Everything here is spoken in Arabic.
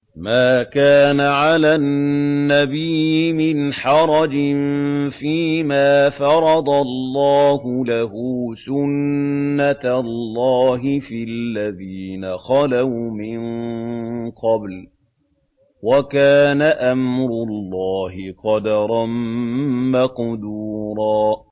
مَّا كَانَ عَلَى النَّبِيِّ مِنْ حَرَجٍ فِيمَا فَرَضَ اللَّهُ لَهُ ۖ سُنَّةَ اللَّهِ فِي الَّذِينَ خَلَوْا مِن قَبْلُ ۚ وَكَانَ أَمْرُ اللَّهِ قَدَرًا مَّقْدُورًا